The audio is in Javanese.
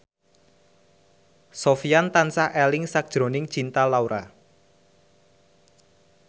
Sofyan tansah eling sakjroning Cinta Laura